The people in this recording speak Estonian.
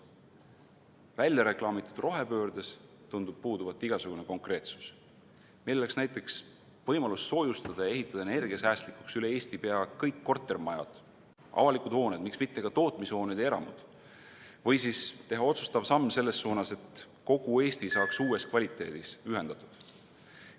Väljareklaamitud rohepöördes tundub puuduvat igasugune konkreetsus, milleks võiks näiteks olla võimalus soojustada ja ehitada energiasäästlikuks üle Eesti pea kõik kortermajad, avalikud hooned, miks mitte ka tootmishooned ja eramud või siis teha otsustav samm selles suunas, et kogu Eesti saaks uues kvaliteedis ühendatud.